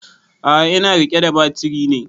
A'a ina riƙe da batiri ne